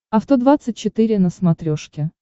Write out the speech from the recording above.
авто двадцать четыре на смотрешке